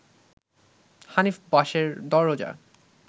হানিফ বাসের দরজা